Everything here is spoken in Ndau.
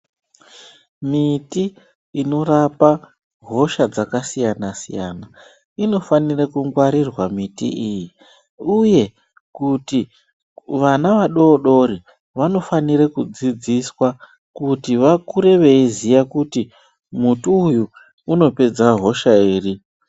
Miti inorapa hosha dzakasiyana-siyana, inofanire kungwarirwa miti iyi uye kuti vana vadodori vanofanire kudzidziswa kuti vakure veiziya kuti muti uyu unopedza hosha iri.